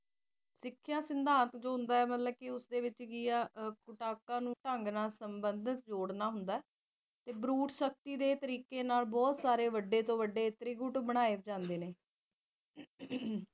ਸਿਖਿਆ ਸਿਧਾਂਤ ਕੀ ਹੁੰਦਾ ਉਸਦੇ ਵਿੱਚ ਮਤਲਬ ਕੀ ਏ ਨੂੰ ਸਬੰਧਤ ਜੋੜਨਾ ਹੁੰਦਾ ਬਰੂਦ ਸ਼ਕਤੀ ਦੇ ਤਰੀਕੇ ਨਾਲ ਬਹੁਤ ਸਾਰੇ ਵੱਡੇ ਵੱਜੇ ਗੁਟ ਬਣਾਏ ਜਾਂਦੇ ਨੇ